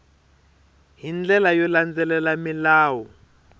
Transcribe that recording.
hi ndlela yo landzelela milawu